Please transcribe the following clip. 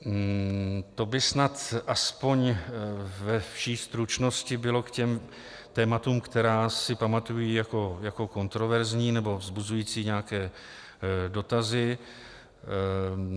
To by snad aspoň ve vší stručnosti bylo k těm tématům, která si pamatuji jako kontroverzní nebo vzbuzující nějaké dotazy.